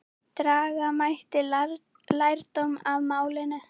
Draga mætti lærdóm af málinu.